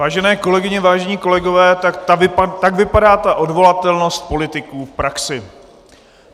Vážené kolegyně, vážení kolegové, tak vypadá ta odvolatelnost politiků v praxi.